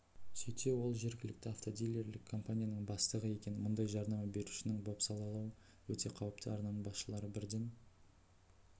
сөйтсе ол жергілікті автодилерлік компанияның бастығы екен мұндай жарнама берушінің бопсалауы өте қауіпті арнаның басшылары бірден